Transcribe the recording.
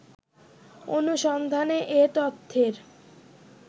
অনুসন্ধানে এ তথ্যের